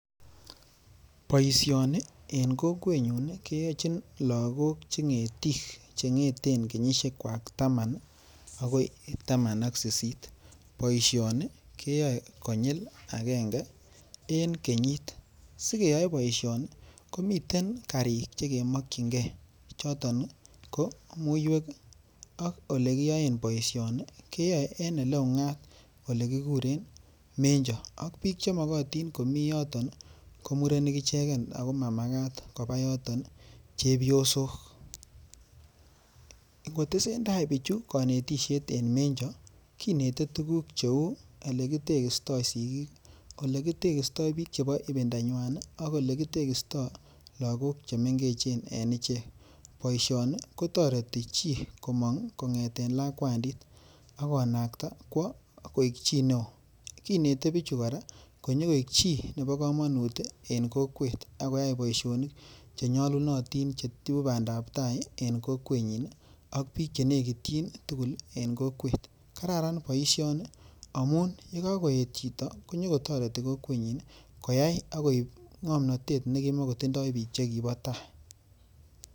Boisioni en kokwenyun ii, keyochin lagok che ngetik che ngeten kenyisiekwak taman akoi taman ak sisit, boisioni keyoei konyil akenge en kenyit, sikeyoei boisini komiten karik che kemokyingei choton ko muiywek ak olekiyoen boisioni ke yoe en ole ungat ole kikuren menjo, ak piik chemokotin komi yoton ko murenik icheken ako mamakat koba yoton chepyosok. Kotesentai pichu kanetisiet en menjo, kinete tuguk cheu olekitekisto sigik, olekitekisto piik chebo ipindanywan ii, ak ole kitekisto lagok che mengechen en ichek. Boisioni kotoreti chii komong kongete lakwandit ak konakta kwo koek chii ne oo, kinete pichu kora konyo koek chii nebo kamanut en kokwet, akoyai boisionik che nyalunotin che ibu bandaptai en kokwenyin ii ak piik che nekityin tugul en kokwet. Kararan boisioni amun ye kakoet chito konyokotoreti kokwenyi koyai ak koib ngomnotet ne kimokotindoi piik che kibo tai.